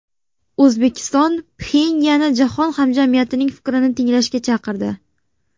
O‘zbekiston Pxenyanni jahon hamjamiyatining fikrini tinglashga chaqirdi .